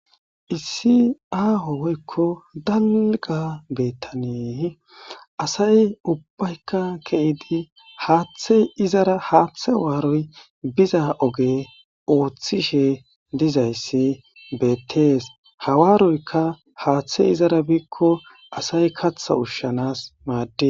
Issi aaho woykko dalga bettane asay ubbayka kehidi haaththe izara haaththe waaroy biza oge ooththishe dizayssi beettees hawaaroykka haaththe izara biikko asay katha ushshanas maadde.